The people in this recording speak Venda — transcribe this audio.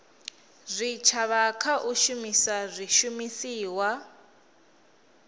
zwitshavha kha u shumisa zwishumiswa